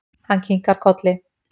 Hann kinkar kolli.